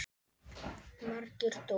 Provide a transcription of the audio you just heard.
Margir dóu.